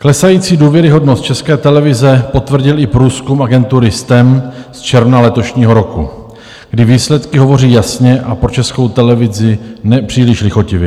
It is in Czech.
Klesající důvěryhodnost České televize potvrdil i průzkum agentury STEM z června letošního roku, kdy výsledky hovoří jasně a pro Českou televizi nepříliš lichotivě.